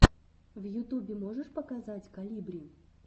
в ютубе можешь показать колибри